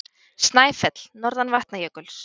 Snæfell, norðan Vatnajökuls.